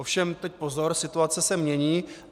Ovšem teď pozor - situace se mění.